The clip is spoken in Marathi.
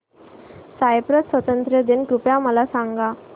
सायप्रस स्वातंत्र्य दिन कृपया मला सांगा